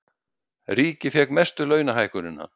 Ríkið fékk mestu launahækkunina